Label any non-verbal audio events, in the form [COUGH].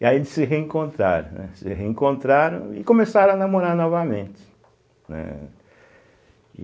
E aí eles se reencontraram, né, se reencontraram e começaram a namorar novamente, né. [UNINTELLIGIBLE]